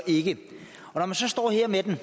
ikke når man så står her med den